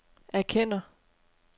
erkender